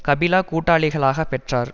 கபிலா கூட்டாளிககளாகப் பெற்றார்